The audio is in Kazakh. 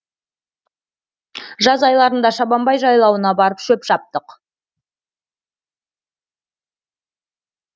жаз айларында шабанбай жайлауына барып шөп шаптық